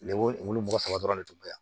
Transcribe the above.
Lemuru mɔgɔ saba dɔrɔn ne tun bɛ yan